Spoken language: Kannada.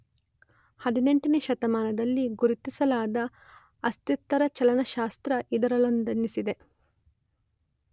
೧೮ನೇ ಶತಮಾನದಲ್ಲಿ ಗುರುತಿಸಲಾದ ಅಸ್ಥಿರ ಚಲನಶಾಸ್ತ್ರ ಇದರಲ್ಲೊಂದೆನಿಸಿದೆ.